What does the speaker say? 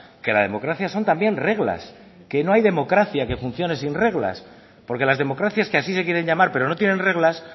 que la democracia son también reglas que no hay democracia que funcione sin reglas porque las democracias que así se quieren llamar pero no tienen reglas